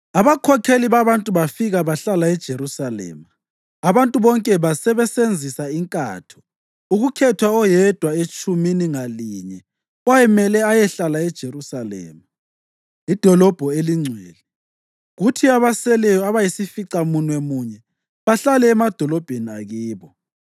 Abakhokheli babantu bafika bahlala eJerusalema. Abantu bonke basebesenzisa inkatho ukukhetha oyedwa etshumini ngalinye owayemele ayehlala eJerusalema, idolobho elingcwele, kuthi abaseleyo abayisificamunwemunye bahlale emadolobheni akibo.